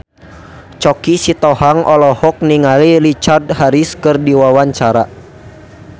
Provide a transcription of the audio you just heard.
Choky Sitohang olohok ningali Richard Harris keur diwawancara